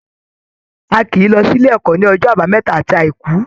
A kìí lọ s'ílé ẹ́kọ̀ ní ọjọ́ àbámẹ́ta àti àìkú.